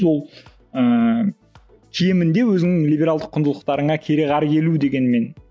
ол ііі кемінде өзінің либералды құндылықтарыңа кереғар келу дегенмен